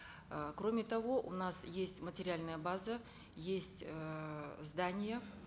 э кроме того у нас есть материальная база есть эээ здания